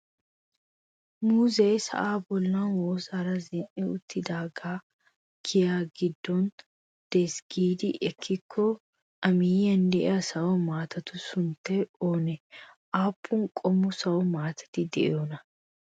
Muuzee sa'aa bollan woossaara zin"i uttidaagee giya giddon de'ees giidi ekkikko A miyyiyan de'iya sawo maatatu sunttaay oonee? Aappun qommo sawo maatati de'iyonaa?